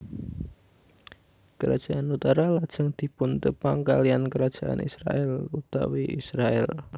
Kerajaan utara lajeng dipuntepang kaliyan Kerajaan Israèl utawi Israèl